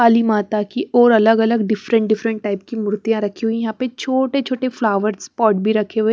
काली माता की और अलग अलग डिफरेंट डिफरेंट टाइप की मूर्तियां रखी हुई यहां पे छोटे छोटे फ्लावर्स पॉट भी रखे हुए--